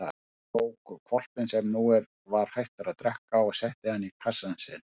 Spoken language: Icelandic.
Hann tók hvolpinn sem nú var hættur að drekka og setti hann í kassann sinn.